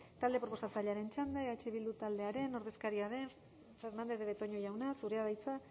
talde proposatzailearen txanda eh bildu taldearen ordezkaria den fernandez de betoño jauna zurea da hitza